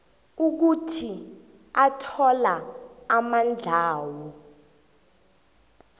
ukuthi athola amandlawo